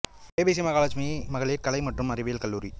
ஏ B C Mahalakshmi மகளிர் கலை மற்றும் அறிவியல் கல்லூரி